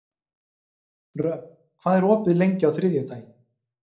Röfn, hvað er opið lengi á þriðjudaginn?